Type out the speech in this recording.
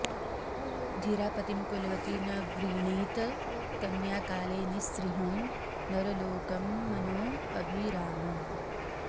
धीरा पतिं कुलवती न वृणीत कन्या काले नृसिंह नरलोकमनोऽभिरामम्